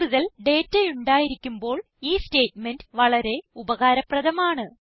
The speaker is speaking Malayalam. കൂടുതൽ ഡേറ്റ ഉണ്ടായിരിക്കുമ്പോൾ ഈ സ്റ്റേറ്റ്മെന്റ് വളരെ ഉപകാരപ്രധമാണ്